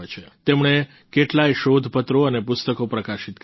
તેમણે કેટલાય શોધ પત્રો અને પુસ્તકો પ્રકાશિત કર્યા છે